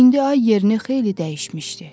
İndi ay yerini xeyli dəyişmişdi.